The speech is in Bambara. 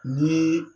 Ni